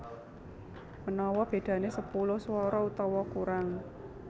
Manawa bedané sepuluh swara utawa kurang